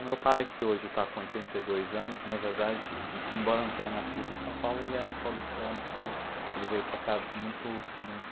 O meu pai, que hoje está com oitenta e dois anos, na verdade, embora não tenha nascido em São Paulo, ele é um paulistano, porque ele veio para cá muito muito